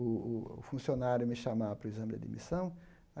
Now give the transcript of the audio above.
o o funcionário me chamar para o exame de admissão.